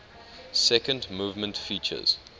second movement features